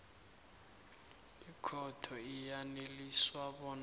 ikhotho iyaneliswa bona